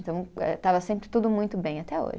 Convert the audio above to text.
Então, eh estava sempre tudo muito bem, até hoje.